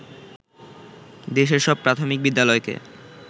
দেশের সব প্রাথমিক বিদ্যালয়কে